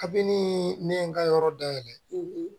Kabini ne ye n ka yɔrɔ dayɛlɛ